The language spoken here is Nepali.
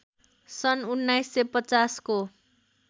सन् १९५० को